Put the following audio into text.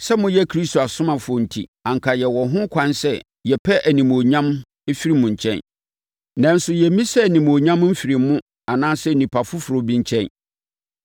Sɛ moyɛ Kristo asomafoɔ no enti, anka yɛwɔ ho kwan sɛ yɛpɛ animuonyam firi mo nkyɛn, nanso yɛmmisaa animuonyam mfirii mo anaasɛ onipa foforɔ bi nkyɛn.